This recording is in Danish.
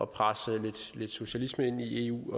presse lidt socialisme ind i eu